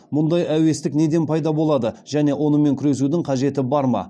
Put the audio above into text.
мұндай әуестік неден пайда болады және онымен күресудің қажеті бар ма